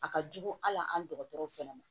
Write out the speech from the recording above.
A ka jugu hali an dɔgɔtɔrɔw fɛnɛ ma